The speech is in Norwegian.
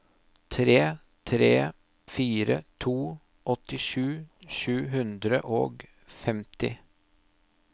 tre tre fire to åttisju sju hundre og femti